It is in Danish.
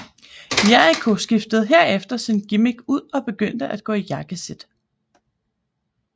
Jericho skiftede herefter sin gimmick ud og begyndte at gå i jakkesæt